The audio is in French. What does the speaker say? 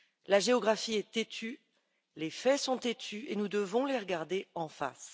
La géographie est têtue, les faits sont têtus, et nous devons les regarder en face.